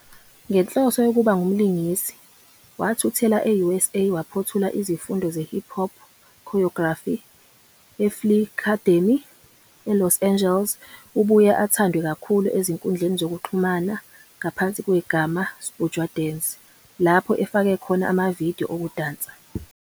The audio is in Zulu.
Ngenhloso yokuba ngumlingisi, wathuthela e-USA waphothula izifundo zeHipHop Choreography eFlii'Cademy, eLos Angeles. Ubuye athandwe kakhulu ezinkundleni zokuxhumana ngaphansi kwegama, 'Sbujwa dance' lapho efake khona ama-video okudansa.